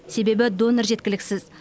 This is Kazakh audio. себебі донор жеткіліксіз